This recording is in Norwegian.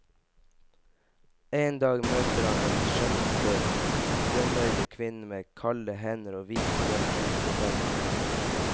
En dag møter han den skjønneste, grønnøyde kvinne, med kalde hender og hvite, hvite tenner.